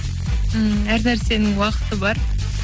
ммм әр нәрсенің уақыты бар